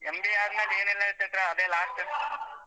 MBA ಆದ್ಮೇಲೆ ಏನಿಲ್ಲ ಚೈತ್ರ ಅದೇ last .